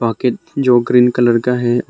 Bucket जो green colour का है।